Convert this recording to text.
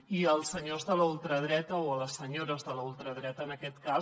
i als senyors de la ultradreta o a les senyores de la ultradreta en aquest cas